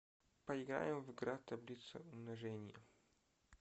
поиграем в игра таблица умножения